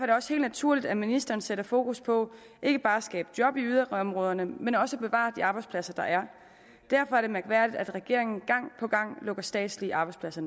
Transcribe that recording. det også helt naturligt at ministeren sætter fokus på ikke bare at skabe job i yderområderne men også at bevare de arbejdspladser der er og derfor er det mærkværdigt at regeringen gang på gang lukker statslige arbejdspladser